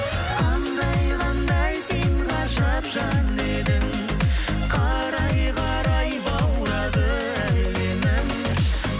қандай қандай сен ғажап жан едің қарай қарай баурады әлемің